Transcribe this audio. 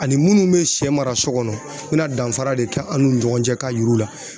Ani minnu bɛ sɛ mara so kɔnɔ u bɛna danfara de kɛ an n'u ni ɲɔgɔn cɛ k'a yir'u la